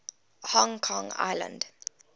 hong kong island